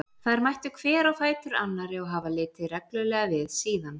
Þær mættu hver á fætur annarri og hafa litið reglulega við síðan.